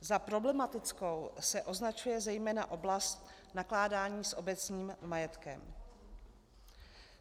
Za problematickou se označuje zejména oblast nakládání s obecním majetkem.